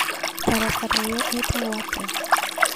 Barabara ĩyo ĩtagwo atĩa